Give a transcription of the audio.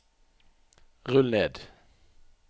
rull ned